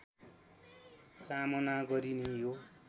कामना गरिने यो